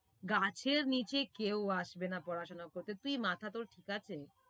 গাছের নিচে কেউ আসবেনা পড়াশোনা করতে তুই মাথা তোর ঠিক আছে?